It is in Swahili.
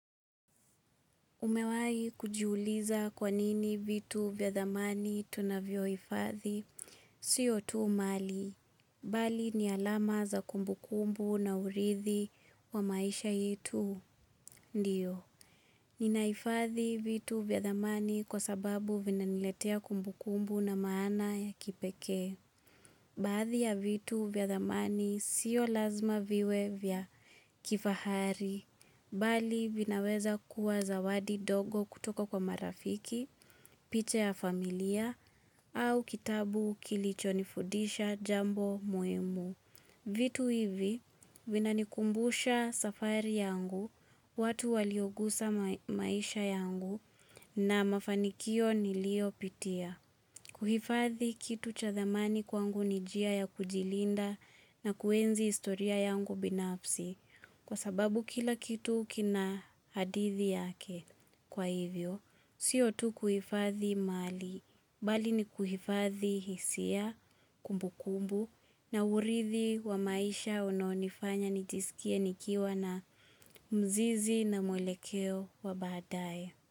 Umewai kujiuliza kwa nini vitu vya dhamani tunavyoifadhi siyo tu mali, bali ni alama za kumbu kumbu na urithi wa maisha yetu, ndiyo. Ninaifadhi vitu vyadhamani kwa sababu vina niletea kumbu kumbu na maana ya kipekee. Baadhi ya vitu vyadhamani siyo lazima viwe vyakifahari, bali vinaweza kuwa zawadi dogo kutoka kwa marafiki, picha ya familia, au kitabu kilicho nifudisha jambo muimu. Vitu hivi vina nikumbusha safari yangu, watu waliogusa maisha yangu, na mafanikio nilio pitia. Kuhifadhi kitu chathamani kwangu nijia ya kujilinda na kuenzi istoria yangu binafsi kwa sababu kila kitu kina hadithi yake kwa hivyo. Sio tu kuhifadhi mali, bali ni kuhifadhi hisia kumbu kumbu na urithi wa maisha unaonifanya nijisikie nikiwa na mzizi na mwelekeo wa baadaye.